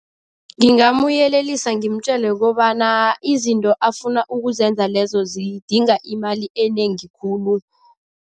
Ngingamuyelelisa ngimtjele kobana izinto afuna ukuzenza lezo zidinga imali enengi khulu.